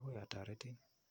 Akoi atoretin.